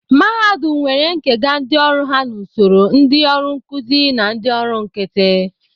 Mahadum nwere nkega ndị ọrụ ha n'usoro ndị ọrụ nkụzi na ndị ọrụ nkịtị